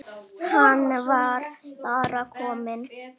Hann var bara kominn.